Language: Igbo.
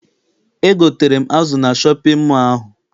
Egotere m azụ na shọpịn mọọ ahụ.